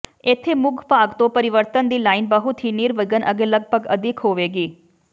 ਇੱਥੇ ਮੁੱਖ ਭਾਗ ਤੋਂ ਪਰਿਵਰਤਨ ਦੀ ਲਾਈਨ ਬਹੁਤ ਹੀ ਨਿਰਵਿਘਨ ਅਤੇ ਲਗਭਗ ਅਦਿੱਖ ਹੋਵੇਗੀ